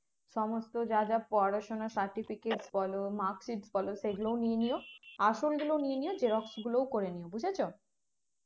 সমস্ত জায়গার পড়াশোনার certificate বলো marksheet বলো সেগুলোও নিয়ে নিও আসল গুলো নিয়ে নিও xerox গুলোও করে নিও বুঝেছো